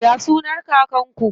Ya sunan kakar ku?